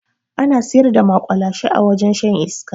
Ana siyar da maƙwalashe a wajen shan iska